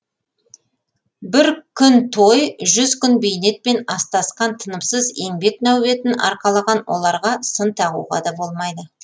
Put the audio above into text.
бір күн той жүз күн бейнетпен астасқан тынымсыз еңбек нәубетін арқалаған оларға сын тағуға да болмайды